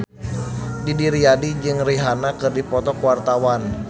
Didi Riyadi jeung Rihanna keur dipoto ku wartawan